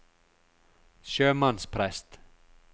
sjømannsprest